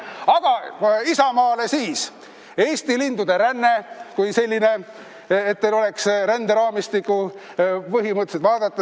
Aga Isamaale on kingiks "Eesti lindude ränne", et teil oleks, kust ränderaamistikku vaadata.